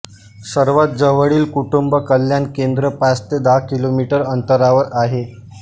सर्वात जवळील कुटुंब कल्याणकेंद्र पाच ते दहा किलोमीटर अंतरावर आहे